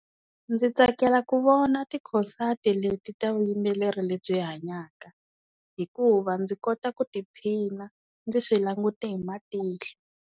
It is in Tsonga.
Ndzi tsakela ku vona tikhosati leti ta vuyimbeleri lebyi hanyaka hikuva ndzi kota ku tiphina ndzi swi langute hi matihlo.